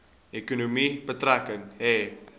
ekonomie betrekking hê